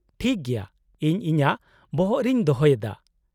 -ᱴᱷᱤᱠ ᱜᱮᱭᱟ ᱾ ᱤᱧ ᱤᱧᱟᱹᱜ ᱵᱚᱦᱚᱜ ᱨᱮᱧ ᱫᱚᱦᱚᱭᱮᱫᱟ ᱾